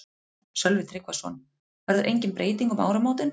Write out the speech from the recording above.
Sölvi Tryggvason: Verður engin breyting um áramótin?